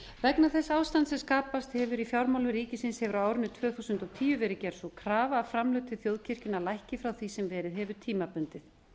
vegna þess ástands sem skapast hefur í fjármálum ríkisins hefur á árinu tvö þúsund og tíu verið gerð sú krafa að framlög til þjóðkirkjunnar lækki frá því sem verið hefur tímabundið